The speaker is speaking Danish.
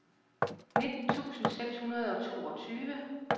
nitten tusind seks hundrede og toogtyve